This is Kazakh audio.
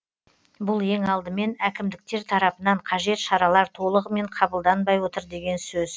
бұл ең алдымен әкімдіктер тарапынан қажет шаралар толығымен қабылданбай отыр деген сөз